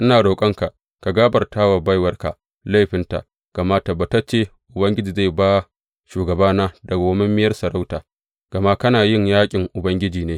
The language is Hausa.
Ina roƙonka ka gafarta wa baiwarka laifinta gama tabbatacce Ubangiji zai ba shugabana dawwammamiyar sarauta, gama kana yin yaƙin Ubangiji ne.